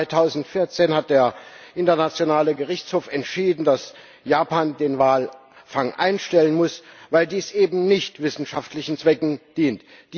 2014 hat der Internationale Gerichtshof entschieden, dass Japan den Walfang einstellen muss, weil dies eben nicht wissenschaftlichen Zwecken dient.